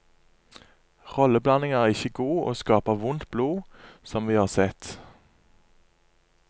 Rolleblandinga er ikkje god, og skaper vondt blod, som vi har sett.